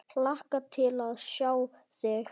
Hlakka til að sjá þig.